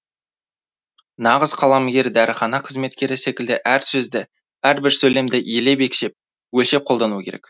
нағыз қаламгер дәріхана қызметкері секілді әр сөзді әрбір сөйлемді елеп екшеп өлшеп қолдануы керек